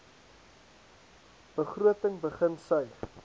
begroting begin suig